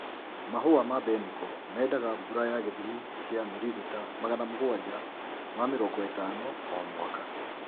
Mahũa ma mbeniko mendaga mbura ya gĩthimi kia mililita magana mũgwanja ma mĩrongo ĩtano o mwaka.